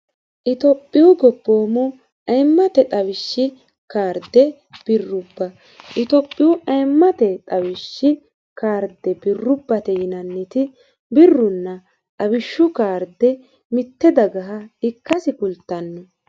itophiyu goboommmu ayimmate xawishshi kaarde birrubba itophiyu ayimmate xawishshi kaarde birrubbate yinanniti birrunna xawishshu kaarde mitte dagaha ikkasi kultanno.